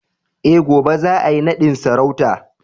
Eh, gobe za a yi nadin sarauta